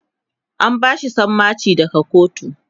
an bashi sammaci daga kotu